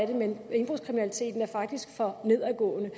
det men indbrudskriminaliteten er faktisk for nedadgående